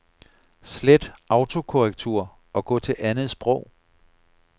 Slet autokorrektur og gå til andet sprog.